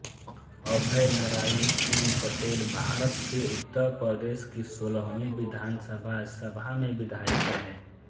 अभय नरायन सिंह पटेलभारत के उत्तर प्रदेश की सोलहवीं विधानसभा सभा में विधायक रहे